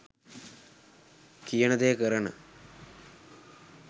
කියන දෙය කරන,